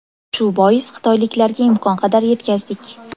Shu bois, xitoyliklarga imkon qadar yetkazdik.